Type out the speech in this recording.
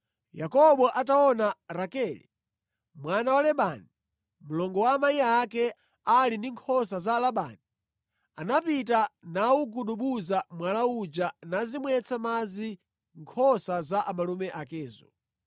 Yakobo ataona Rakele mwana wa Labani, mlongo wa amayi ake, ali ndi nkhosa za Labani, anapita nawugudubuza mwala uja nazimwetsa madzi nkhosa za amalume akezo.